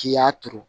K'i y'a turu